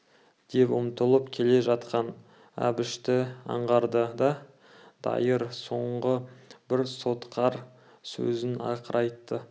деп ұмтылып келе жатқан әбішті аңғарды да дайыр соңғы бір сотқар сөзін ақыра айтты